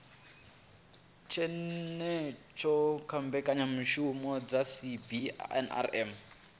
tshenzhemo kha mbekanyamishumo dza cbnrm